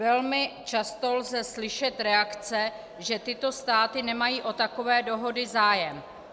Velmi často lze slyšet reakce, že tyto státy nemají o takové dohody zájem.